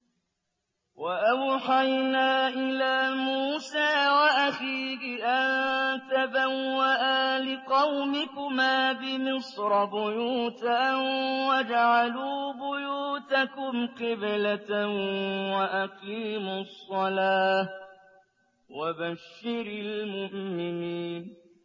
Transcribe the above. وَأَوْحَيْنَا إِلَىٰ مُوسَىٰ وَأَخِيهِ أَن تَبَوَّآ لِقَوْمِكُمَا بِمِصْرَ بُيُوتًا وَاجْعَلُوا بُيُوتَكُمْ قِبْلَةً وَأَقِيمُوا الصَّلَاةَ ۗ وَبَشِّرِ الْمُؤْمِنِينَ